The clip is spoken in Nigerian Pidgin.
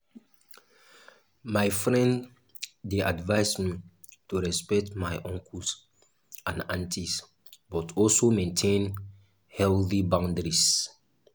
my friend dey advise me to respect my uncles and aunties but also maintain healthy boundaries.